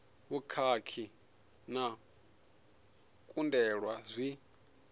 vhukhakhi na u kundelwa zwi